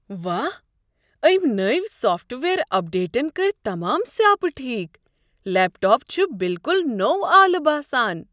واہ، أمۍ نوۍ سافٹ ویئر اپڈیٹن کٔرۍ تمام سیاپہٕ ٹھیک۔ لیپ ٹاپ چھ بالکل نوٚو آلہٕ باسان۔